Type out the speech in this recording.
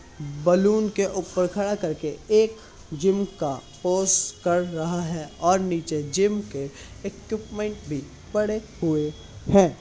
Balloon के ऊपर खड़ा कर के एक जिम का पोज कर रहा है और नीचे जिम के इक्विपमेंट भी पड़े हुए है।